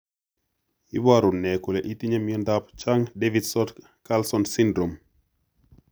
Iporu ne kole itinye miondap Chang Davidson Carlson syndrome?